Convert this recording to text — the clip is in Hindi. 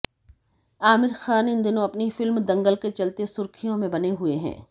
आमिर खान इन दिनों अपनी फिल्म दंगल के चलते सुर्खियों में बने हुए हुए हैं